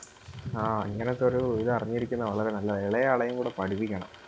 ആ ഇങ്ങനത്തെ ഒരു ഇത് അറിഞ്ഞിരിക്കുന്നത് വളരെ നല്ലയാ എളേ ആളേയും കൂടെ പഠിപ്പിക്കണം.